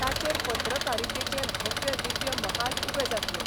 ताचेर पत्रकारितेचे भव्य दिव्य महाल उबे जातले.